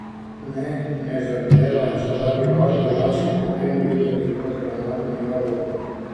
Ne, ne zardevaj, zaradi barve las si potem videti kot granatno jabolko.